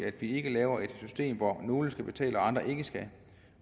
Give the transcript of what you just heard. at vi ikke laver et system hvor nogle skal betale og hvor andre ikke skal